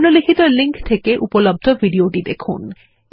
নিম্নলিখিত লিঙ্ক থেকে উপলব্ধ ভিডিও টি দেখুন